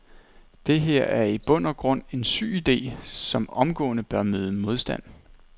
Det her er i bund og grund en syg ide, som omgående bør møde modstand.